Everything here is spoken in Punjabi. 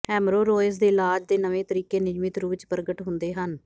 ਹੈਮਰੋਰੋਇਜ਼ ਦੇ ਇਲਾਜ ਦੇ ਨਵੇਂ ਤਰੀਕੇ ਨਿਯਮਿਤ ਰੂਪ ਵਿੱਚ ਪ੍ਰਗਟ ਹੁੰਦੇ ਹਨ